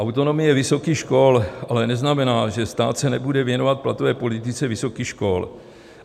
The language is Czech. Autonomie vysokých škol ale neznamená, že stát se nebude věnovat platové politice vysokých škol.